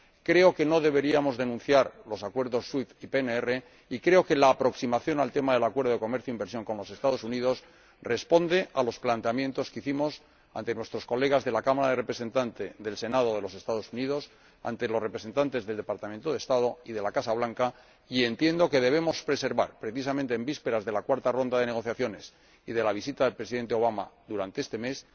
Creo que no deberíamos denunciar los Acuerdos SWIFT y PNR y creo que la aproximación al tema del ATCI con los Estados Unidos responde a los planteamientos que presentamos ante nuestros colegas de la Cámara de Representantes y del Senado de los Estados Unidos, así como ante los representantes del Departamento de Estado y de la Casa Blanca, y entiendo que debemos preservarlos, precisamente en vísperas de la cuarta ronda de negociaciones y de la visita del Presidente Obama durante este mes.